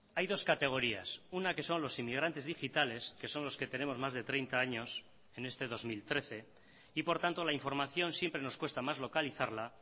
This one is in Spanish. hay dos categorías una que son los inmigrantes digitales que son los que tenemos más de treinta años en este dos mil trece y por tanto la información siempre nos cuesta más localizarla